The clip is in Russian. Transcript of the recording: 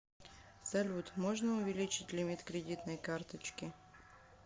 салют можна увеличить лимит кредитной карточки